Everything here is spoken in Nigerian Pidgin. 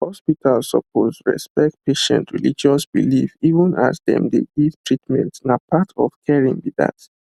hospitals suppose respect patient religious belief even as dem dey give treatment na part of caring be that